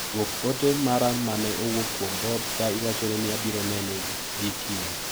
Duok ote mara mane owuok kuom Bob ka iwachone ni abiro neno gi kiny.